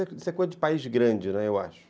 Isso é coisa de país grande, né, eu acho.